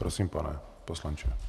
Prosím, pane poslanče.